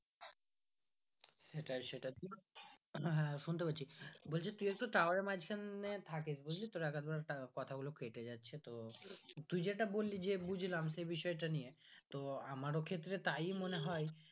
হ্যাঁ হ্যাঁ শুনতে পাচ্ছি বলছি তুই একটু tower এর মাজখানে থাকিস বুজলি তো এক আধ বার কথা গুলো কেটে যাচ্ছে তো তুই যেটা বল্লি যে বুজলাম সেই বিষয়টা নিয়ে তো আমার ক্ষেত্রে তাই মনে হয়